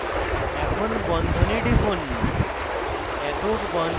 এখন বন্ধনে টিপুন